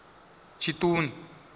tshiṱuni